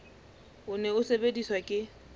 o ne o sebediswa ke